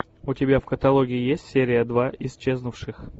у тебя в каталоге есть серия два исчезнувших